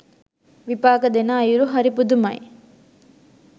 විපාක දෙන අයුරු හරි පුදුමයි.